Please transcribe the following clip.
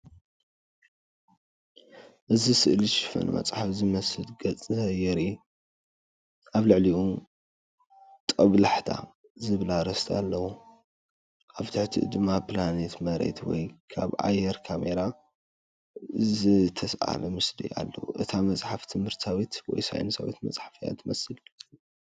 እቲ ስእሊ ሽፋን መጽሓፍ ዝመስል ገጽ የርኢ። ኣብ ልዕሊኡ ፡ "ጦብላሕታ" ዝብል ኣርእስቲ ኣለዎ። ኣብ ትሕቲኡ ድማ ፕላኔት መሬት ወይ ካብ ኣየር ካሜራ ዝተሳእለ ምስሊ ኣለዎ። እታ መጽሓፍ ትምህርታዊት ወይ ሳይንሳዊት መጽሓፍ እያ ትመስል።